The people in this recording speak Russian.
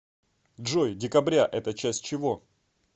джой декабря это часть чего